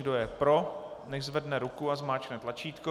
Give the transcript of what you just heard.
Kdo je pro, nechť zvedne ruku a zmáčkne tlačítko.